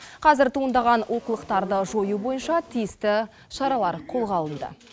қазір туындаған олқылықтарды жою бойынша тиісті шаралар қолға алынды